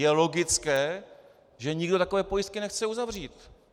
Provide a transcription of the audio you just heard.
Je logické, že nikdo takové pojistky nechce uzavřít.